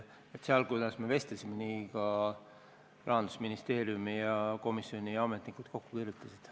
Nii, nagu me vestlesime, Rahandusministeeriumi ja komisjoni ametnikud selle kokku kirjutasid.